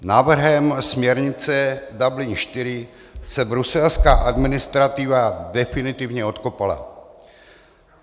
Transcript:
Návrhem směrnice Dublin IV se bruselská administrativa definitivně odkopala.